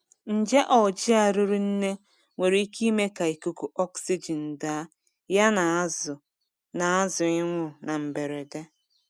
Nje Algae riri nne nwere ike ime ka ikuku oxygen daa ya na azụ na azụ ịnwụ na mberede.